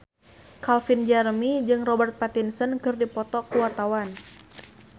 Calvin Jeremy jeung Robert Pattinson keur dipoto ku wartawan